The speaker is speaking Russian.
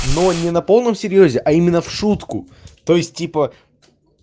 но не на полном серьёзе а именно в шутку то есть типа